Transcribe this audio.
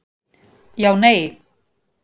Já, nei.